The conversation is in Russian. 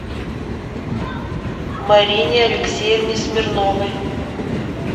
марине алексеевне смирновой